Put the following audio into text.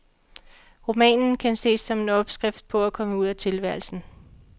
Romanen kan ses som en opskrift på at komme ud af tilværelsen.